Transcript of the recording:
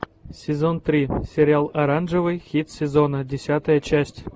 сезон три сериал оранжевый хит сезона десятая часть